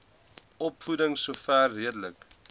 opvoeding sover redelik